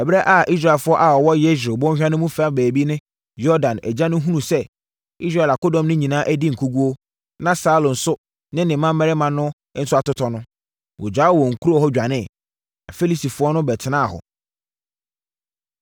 Ɛberɛ a Israelfoɔ a wɔwɔ Yesreel bɔnhwa no fa baabi ne Yordan agya no hunuu sɛ Israel akodɔm no adi nkoguo, na Saulo nso ne ne mmammarima no nso atotɔ no, wɔgyaa wɔn nkuro hɔ dwaneeɛ. Na Filistifoɔ no bɛtenaa hɔ.